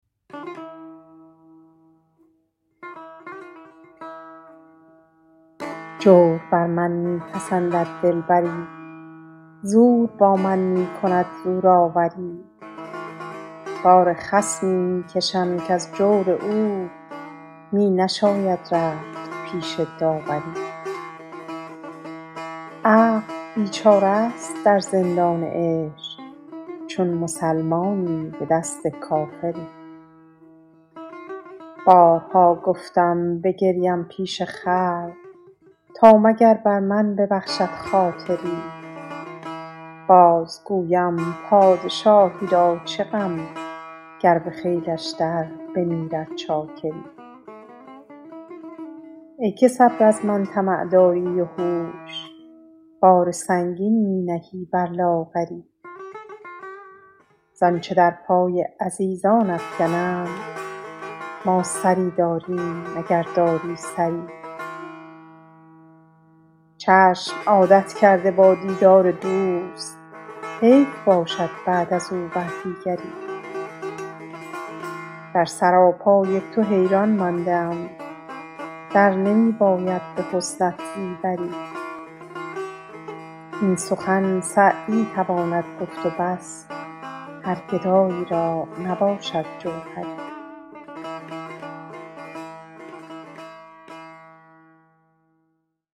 جور بر من می پسندد دلبری زور با من می کند زورآوری بار خصمی می کشم کز جور او می نشاید رفت پیش داوری عقل بیچاره ست در زندان عشق چون مسلمانی به دست کافری بارها گفتم بگریم پیش خلق تا مگر بر من ببخشد خاطری باز گویم پادشاهی را چه غم گر به خیلش در بمیرد چاکری ای که صبر از من طمع داری و هوش بار سنگین می نهی بر لاغری زآنچه در پای عزیزان افکنند ما سری داریم اگر داری سری چشم عادت کرده با دیدار دوست حیف باشد بعد از او بر دیگری در سراپای تو حیران مانده ام در نمی باید به حسنت زیوری این سخن سعدی تواند گفت و بس هر گدایی را نباشد جوهری